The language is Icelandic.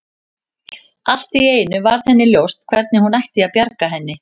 Allt í einu varð henni ljóst hvernig hún ætti að bjarga henni.